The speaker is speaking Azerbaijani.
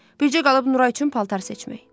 Bircə qalıb Nuray üçün paltar seçmək.